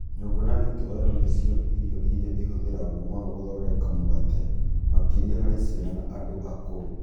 Nyũngũ na gĩtoero nĩ cio irio iria ihũthagĩrũo mũno gũthondeka mũgate, makĩria harĩ ciana na andũ akũrũ.